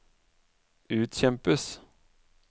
utkjempes